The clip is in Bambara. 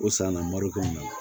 O sanna marikɔnɔ